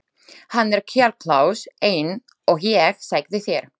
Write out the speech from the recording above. Hann er kjarklaus eins og ég sagði þér.